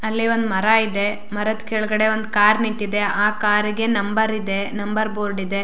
ಅಲ್ಲಿ ಒಂದ ಮರ ಇದೆ ಮರದ ಕೆಳಗಡೆ ಒಂದ ಕಾರ್ ನಿಂತಿದೆ ಆ ಕಾರಿಗೆ ನಂಬರ್ ಇದೆ ನಂಬರ್ ಬೋರ್ಡ್ ಇದೆ.